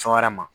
Fɛn wɛrɛ ma